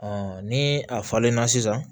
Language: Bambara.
ni a falenna sisan